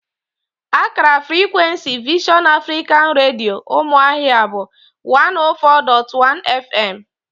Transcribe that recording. Akara frikwensi Vision Africa Redio, Ụmụahịa bụ 104.1 fm